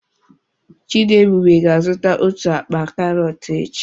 Chidiebube ga-azụta otu akpa karọt echi.